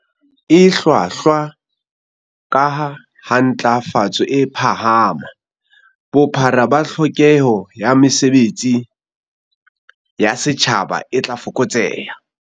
E hlwahlwa, kaha ha ntlafatso e phahama, bophara ba tlhokeho ya mesebe tsi ya setjhaba e tla fokotseha.